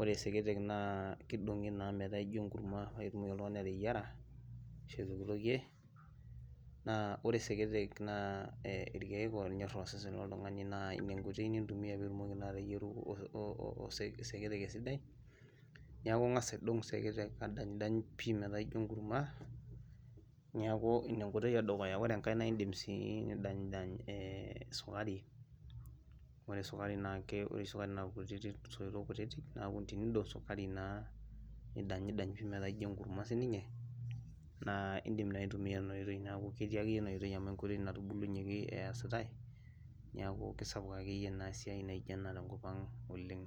ore seketek naa kidongi naa metaa ijo enkurma pee etum oltungani ateyiara ashu aitokitokie ,naa ore seketek naa irkeek oonyor osesen toltungani naa ina naa enkoitoi nintumiya pee itumoki ateyiara seketek esidai .neeku Inga's aidong'dong seketek pii metaa ijo enkurma neeku ina enkoitoi edukuya ,ore enkae naa indim sii nidanydany' sukurai ore sukari naa irkutitik soitok kutitik nindog sukari naa metaa enkurma siininye neeku indim aitumiyia kuna tokiting tena oitoi amu enkoitoi natubuluaki eesitae neeku sisapuk akeyie esiai naijo ena tenkopang' oleng.